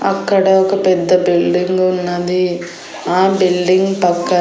అక్కడ ఒక పెద్ద బిల్డింగ్ ఉన్నది ఆ బిల్డింగ్ పక్కన.